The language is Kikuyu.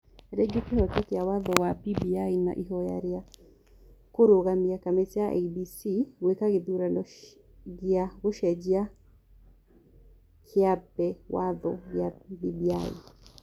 rĩgiĩ kĩhooto kĩa Watho wa BBI na ihoya rĩa kũrũgamia kamĩtĩ ya IEBC gwĩka gĩthurano gĩa gũcenjia kĩambi watho gĩa BBI.